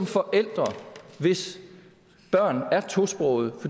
forældre hvis børn er tosprogede